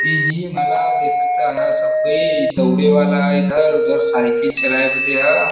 ई जिम हला। देखत ह सब कोई। दौड़े वाला ह इधर। उधर साइकिल चलावे बदे ह।